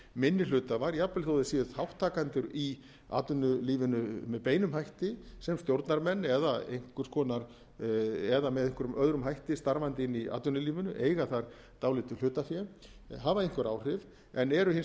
minni hluthafar jafnvel þó þeir séu þátttakendur í atvinnulífinu með beinum hætti sem stjórnarmenn eða einhverjum öðrum hætti starfandi inni í atvinnulífinu eigandi þar dálítið hlutafé hafa einhver áhrif en eru hins vegar